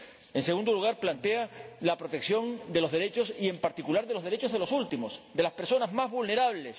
En segundo lugar, el informe plantea la protección de los derechos, en particular de los derechos de los últimos, de las personas más vulnerables.